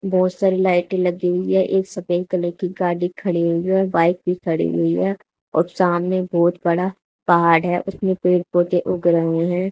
बहुत सारी लाइटें लगी हुई है एक सफेद कलर की गाड़ी खड़ी हुई है और बाइक भी खड़ी हुई है और सामने बहुत बड़ा पहाड़ है उसमें पेड़ पौधे उग रहे हैं।